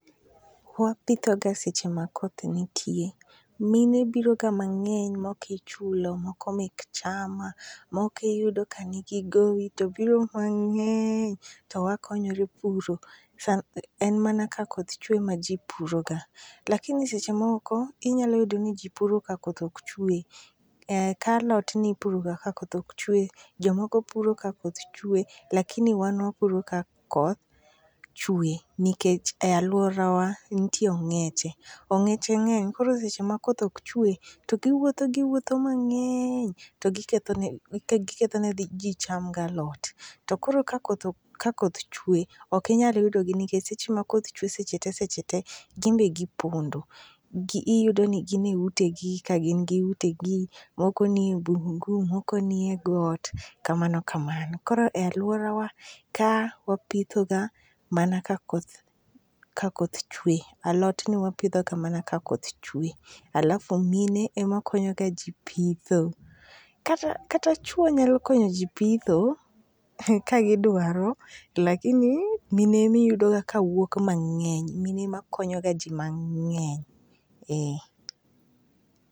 Wapithoga seche ma koth nitie. Mine biroga mang'eny, moko ichulo ,moko mek chama, moko iyudo ka nigi gowi to biro mang'eny to wakonyore puro. En mana ka koth chuwe ema ji puroga, lakini seche moko, inyalo yudo ni ji puro ka koth ok chuwe, ka alot, nipuroga ka koth ok chuwe, jomoko puro ka koth chuwe, lakini wan wapuro ka koth chuwe, nikech e alworawa, nitie ong'eche. Ong'eche ng'eny, koro seche ma koth ok chuwe, to giwuotho giwuotho mang'eny to gikethone ji cham galot. To koro ka koth chuwe, ok inyal yudogi nikech seche ma koth chuwe seche te seche te, to gin be gipondo. Iyudo ni gin e utegi, ka gin gi utegi, moko ni bungu, moko nie got kamano kamano. Koro e alworawa ka wapithoga mana ka koth chuwe. Alot nwapidho ga mana ka koth chuwe. alafu gini ema konyoga ji pitho. Kata chuwo nyalo konyoji kagidwaro, lakini mine emi yudoga kawuok mang'eny. Mine ema konyoga ji mang'eny.